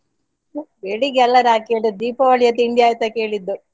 ಬೆಳಿಗ್ಗೆ ಅಲ್ಲ ನಾ ಕೇಳಿದ್ದು ದೀಪಾವಳಿಯ ತಿಂಡಿ ಆಯ್ತಾ ಕೇಳಿದ್ದು.